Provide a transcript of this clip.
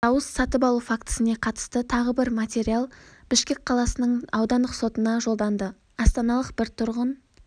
дауыс сатып алу фактісіне қатысты тағы бір материал бішкек қаласының аудандық сотына жолданды астаналық бір тұрғын